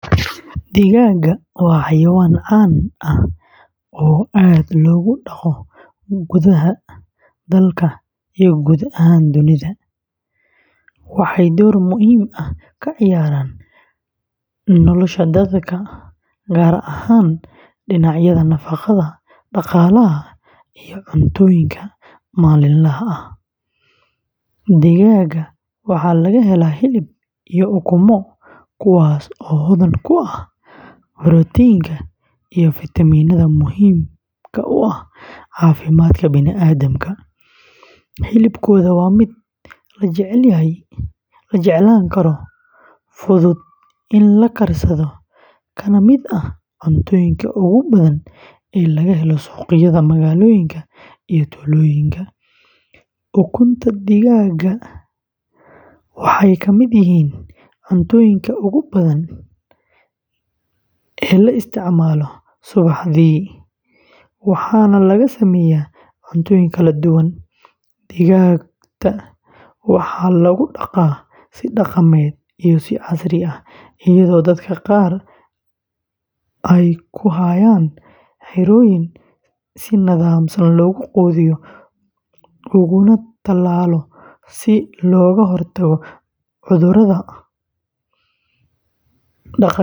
Digaagga waa xayawaan caan ah oo aad loogu dhaqo gudaha daalka iyo guud ahaan dunida. Waxay door muhiim ah ka ciyaaraan nolosha dadka, gaar ahaan dhinacyada nafaqada, dhaqaalaha, iyo cunnooyinka maalinlaha ah. Digaagga waxaa laga helaa hilib iyo ukumo, kuwaas oo hodan ku ah borotiinka iyo fiitamiinnada muhiimka u ah caafimaadka bini’aadamka. Hilibkooda waa mid la jeclaan karo, fudud in la karsado, kana mid ah cuntooyinka ugu badan ee laga helo suuqyada magaalooyinka iyo tuulooyinka. Ukunta digaagga waxay ka mid yihiin cuntooyinka ugu qiimaha badan ee la isticmaalo subaxdii, waxaana laga sameeyaa cuntooyin kala duwan. Digaagta waxaa lagu dhaqaa si dhaqameed iyo si casri ah, iyadoo dadka qaar ay ku hayaan xerooyin si nidaamsan loogu quudiyo uguna talaalo si looga hortago cudurrada.